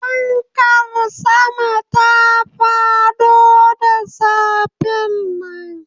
Fankar sama ta fado da safen nan